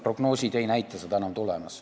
Prognoosid ei näita, et seda enam tuleb.